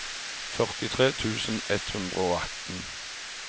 førtitre tusen ett hundre og atten